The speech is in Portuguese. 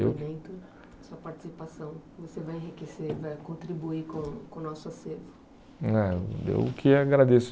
Ah, eu que agradeço.